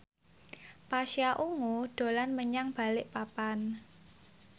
Pasha Ungu dolan menyang Balikpapan